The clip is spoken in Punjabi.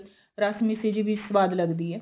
ਰਸ ਮਿਸੀ ਜੀ ਵੀ ਸਵਾਦ ਲੱਗਦੀ ਏ